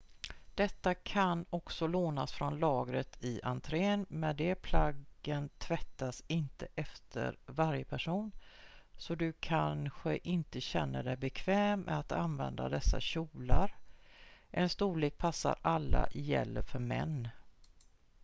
detta kan också lånas från lagret i entrén men de plaggen tvättas inte efter varje person så du kanske inte känner dig bekväm med att använda dessa kjolar en storlek passar alla gäller för män